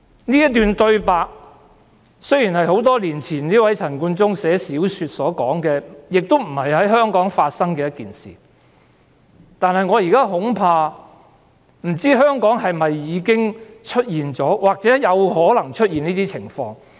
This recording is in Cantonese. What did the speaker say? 這段對白雖然是陳冠中多年前撰寫小說時所寫下，亦非在香港發生的事，但我不知道香港是否已經出現這情況，或有可能出現這種情況。